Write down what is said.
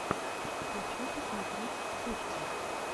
хочу посмотреть вспышка